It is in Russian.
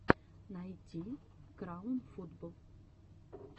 найти краун футбол